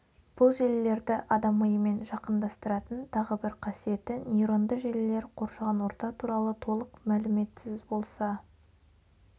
бұл желілерді адам миымен жақындастыратын тағы бір қасиеті нейронды желілер қоршаған орта туралы толық мәліметсіз болса